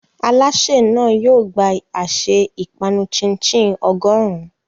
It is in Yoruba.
Alásè náà yóò gba àsè ìpanu chin-chin ọgọ́rùn-ún.